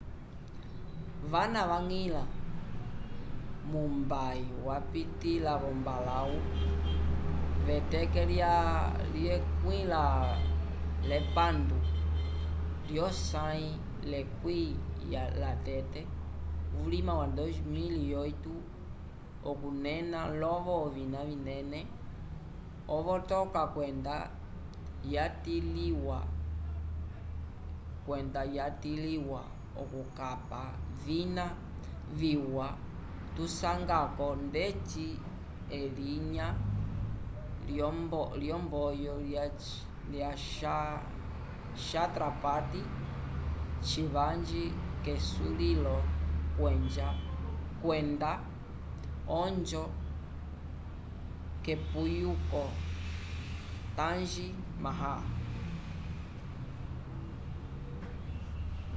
vana vañgilĩla mumbai vapitĩla l'ombalãwu k'eteke lya 26 lyosãyi lyekwĩ lyatete vulima wa 2008 okunena lovo ovina vinene ovota kwenda yatilĩwa okukapa vina viwa tusanga-ko ndeci elinya lyomboyo lya chatrapati shivaji kesulilo kwenda onjo yepuyuko taaj mahal